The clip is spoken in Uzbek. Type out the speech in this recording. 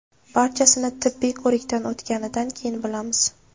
Barchasini tibbiy ko‘rikdan o‘tganidan keyin bilamiz.